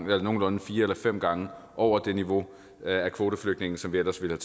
væk nogenlunde fire eller fem gange over det niveau af kvoteflygtninge som vi ellers ville